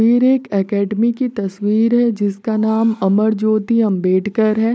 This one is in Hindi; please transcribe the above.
फिर एक अकडमी की तस्वीर है जिसका नाम अमर ज्योति आंबेडकर है।